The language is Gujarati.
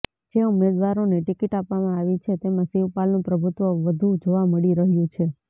જે ઉમેદવારોને ટિકિટ આપવામાં આવી છે તેમા શિવપાલનું પ્રભુત્વ વધુ જોવા મળી રહ્યુ છે